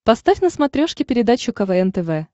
поставь на смотрешке передачу квн тв